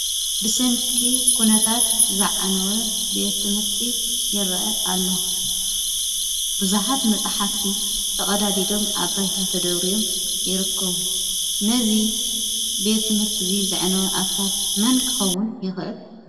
ብሰንኪ ኩነታት ዝዓነወ ቤት ትምህርቲ ይረአ አሎ። ብዙሓት መፅሓፍቲ ተቀዳዲዶም አብ ባይታ ተደብርዮም ይርከቡ። ነዚ ቤት ትምህርቲ ዚ ዘዕነወ አካል መን ክከውን ይክእል?